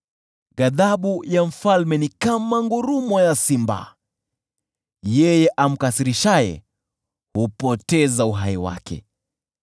Ghadhabu ya mfalme ni kama ngurumo ya simba; yeye amkasirishaye hupoteza uhai wake.